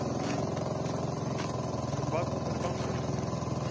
Breki: Og hvað kom fyrir bangsann þinn?